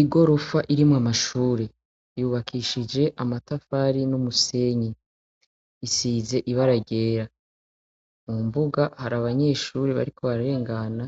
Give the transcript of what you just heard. Igorofa irimo amashure yubakishije amatafari n'umusenyi isize ibaragera mu mbuga hari abanyeshure bariko bararengana